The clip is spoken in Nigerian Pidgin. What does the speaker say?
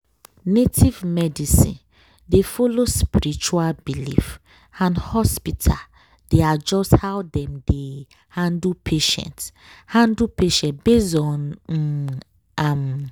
native medicine dey follow spiritual belief and hospital dey adjust how dem dey handle patient handle patient based on um am.